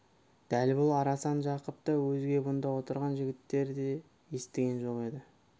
дәл бұл арасын жақып та өзге бұнда отырған жігіттер де естіген жоқ еді